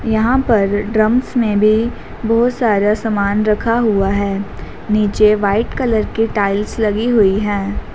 यहां पर ड्रम्स में भी बहुत सारा सामान रखा हुआ है नीचे वाइट कलर के टाइल्स लगी हुई है।